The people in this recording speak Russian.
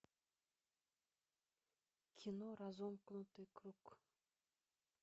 кино разомкнутый круг